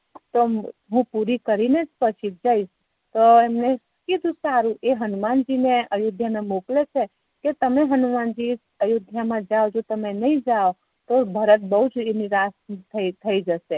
તો હુ પૂરી કરી ને પછી જઈશ તો એમને કીધું સારું એ હનુમાનજી ને અયોધ્યા મોકલે છે કે તમે હનુમાનજી અયોધ્યામાજાવ નહિ તો એ બૌ નિરાશ થશે